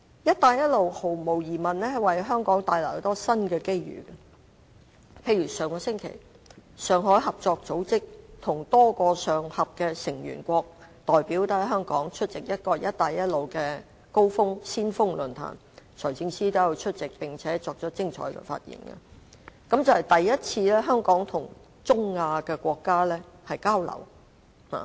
"一帶一路"毫無疑問可為香港帶來很多新機遇，例如上星期，上海合作組織和多個上合成員國代表在香港出席了"一帶一路先鋒論壇"，財政司司長也有出席，並且發表了精彩的演說，這是香港第一次跟中亞國家交流。